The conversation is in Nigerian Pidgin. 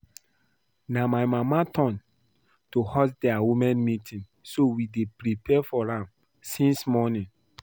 Na my mama turn to host their women meeting so we dey prepare for am since morning